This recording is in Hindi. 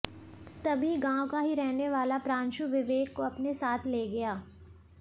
तभी गांव का ही रहने वाला प्रांशु विवेक को अपने साथ ले गया